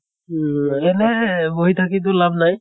এনে এহ বহি থাকিতো লাভ নাই।